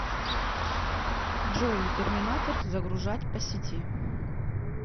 джой терминатор загружать по сети